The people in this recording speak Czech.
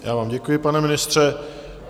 Já vám děkuji, pane ministře.